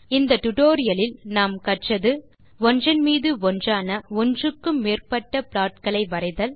இந்த டியூட்டோரியல் லில் நாம் கற்றது ஒன்றன் மீது ஒன்றான ஒன்றுக்கு மேற்பட்ட plotகளை வரைதல்